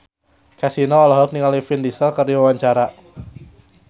Kasino olohok ningali Vin Diesel keur diwawancara